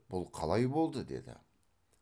бұл қалай болды деді